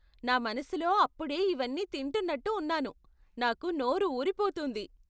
నా మనసులో అప్పుడే ఇవన్నీ తింటున్నట్టు ఉన్నాను, నాకు నోరు ఊరిపోతుంది.